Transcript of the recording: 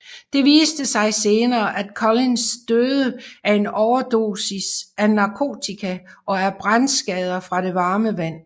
Det viste sig senere at Collins døde af en overdosis af narkotika og af brandskader fra det varme vand